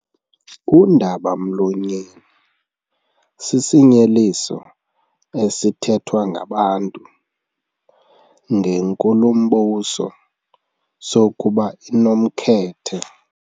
Undaba-mlonyeni sisinyeliso esithethwa ngabantu ngenkulumbuso sokuba inomkhethe.